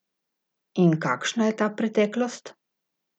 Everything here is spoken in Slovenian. In kakšna je ta preteklost?